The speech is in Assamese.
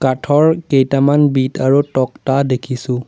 কাঠৰ কেইটামান বিট আৰু তক্তা দেখিছোঁ।